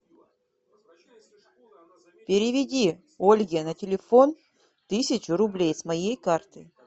переведи ольге на телефон тысячу рублей с моей карты